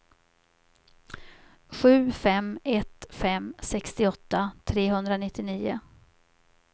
sju fem ett fem sextioåtta trehundranittionio